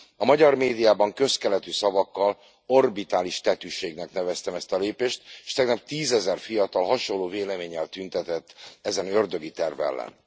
A magyar médiában közkeletű szavakkal, orbitális tetűségnek neveztem ezt a lépést, és tegnap tízezer fiatal hasonló véleménnyel tüntetett ezen ördögi terv ellen.